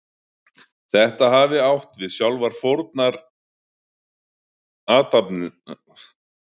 Þetta hafi átt við sjálfar fórnarathafnirnar, en á öðrum tímum hafi mátt snæða kjöt.